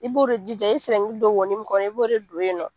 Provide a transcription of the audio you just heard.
I b'o de jija i ye don wo min kɔnɔ i b'o de don yen nɔ.